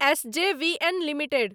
S J V N limited